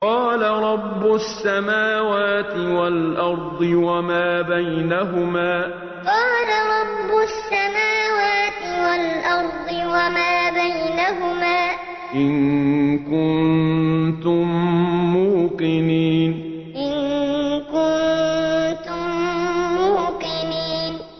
قَالَ رَبُّ السَّمَاوَاتِ وَالْأَرْضِ وَمَا بَيْنَهُمَا ۖ إِن كُنتُم مُّوقِنِينَ قَالَ رَبُّ السَّمَاوَاتِ وَالْأَرْضِ وَمَا بَيْنَهُمَا ۖ إِن كُنتُم مُّوقِنِينَ